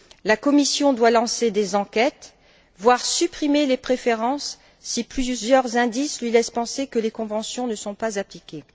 La Commission doit lancer des enquêtes, voire supprimer les préférences si plusieurs indices lui laissent penser que les conventions ne sont pas appliquées.